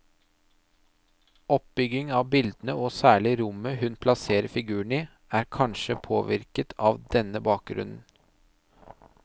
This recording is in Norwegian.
Oppbyggingen av bildene og særlig rommet hun plasserer figurene i, er kanskje påvirket av denne bakgrunnen.